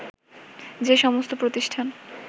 যে সমস্ত প্রতিষ্ঠান